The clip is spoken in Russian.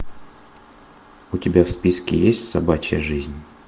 у тебя в списке есть собачья жизнь